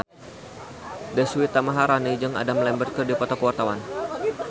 Deswita Maharani jeung Adam Lambert keur dipoto ku wartawan